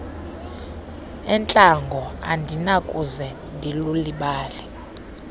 entlango andinakuze ndilulibale